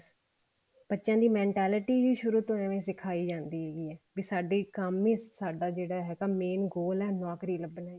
ਬੱਚਿਆਂ ਦੀ mentality ਵੀ ਸ਼ੁਰੂ ਤੋਂ ਏਵੇਂ ਸਿਖਾਈ ਜਾਂਦੀ ਹੈ ਵੀ ਸਾਡੇ ਕੰਮ ਹੀ ਸਾਡਾ ਜਿਹੜਾ ਹੈਗਾ ਮੈਂ goal ਹੈ ਨੋਕਰੀ ਲੱਗਣਾ